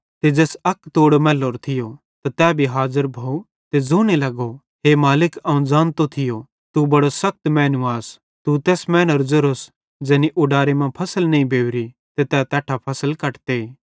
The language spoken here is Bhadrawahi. ते ज़ैस अक तोड़ो मैल्लेरो थियो त तै भी हाज़र भोव ते ज़ोने लगो हे मालिक अवं ज़ानतो थियो तू बड़ो सखत मैनू आस तू तैस मैनेरो ज़ेरोस ज़ैनी उडारे मां फसल नईं बेवरी ते तै तैट्ठां फसल कटते